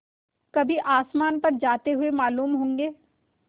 कभी आसमान पर जाते हुए मालूम होंगे